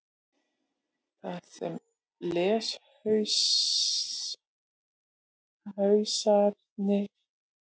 Þar sem leshausarnir fara frekar hægt yfir getur þetta tafið mjög fyrir lestri skráarinnar.